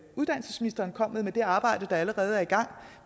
uddannelsesministeren kom med af det arbejde der allerede er i gang